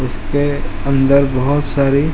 उसके अंदर बहोत सारी --